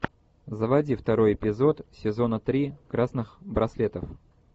заводи второй эпизод сезона три красных браслетов